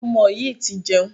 Ọmọ yìí ti jẹun.